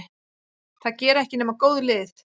Það gera ekki nema góð lið.